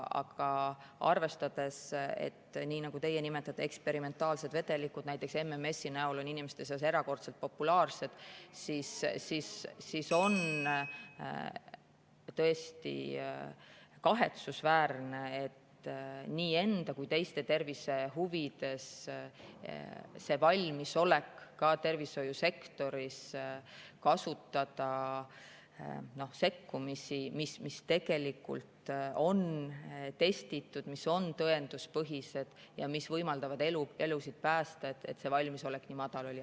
Aga arvestades, et nii nagu teie nimetate, eksperimentaalsed vedelikud, näiteks MMS, on inimeste seas erakordselt populaarsed, on tõesti kahetsusväärne, et see valmisolek ka tervishoiusektoris kasutada nii enda kui ka teiste tervise huvides sekkumisi, mis tegelikult on testitud, mis on tõenduspõhised ja mis võimaldavad elusid päästa, nii madal oli.